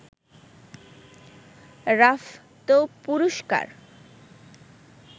Rafto পুরস্কার